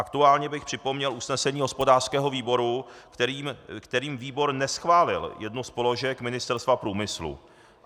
Aktuálně bych připomněl usnesení hospodářského výboru, kterým výbor neschválil jednu z položek Ministerstva průmyslu.